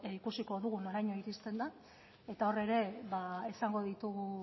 ikusiko dugu noraino iristen den eta hor ere izango ditugu